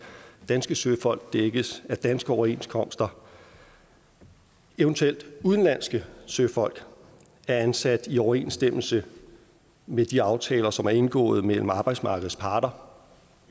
danske søfolk dækkes af danske overenskomster og eventuelle udenlandske søfolk er ansat i overensstemmelse med de aftaler som er indgået mellem arbejdsmarkedets parter